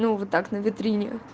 ну вот так на витрине